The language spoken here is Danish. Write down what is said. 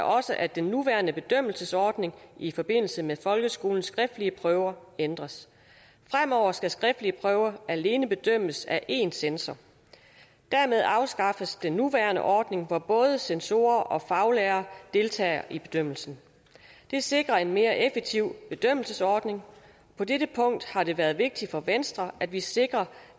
også at den nuværende bedømmelsesordning i forbindelse med folkeskolens skriftlige prøver ændres fremover skal skriftlige prøver alene bedømmes af én censor dermed afskaffes den nuværende ordning hvor både censorer og faglærere deltager i bedømmelsen det sikrer en mere effektiv bedømmelsesordning på dette punkt har det været vigtigt for venstre at vi sikrer